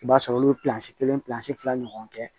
I b'a sɔrɔ olu kelen fila ɲɔgɔn kɛ